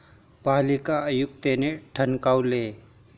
पालिका आयुक्तांनी ठणकावले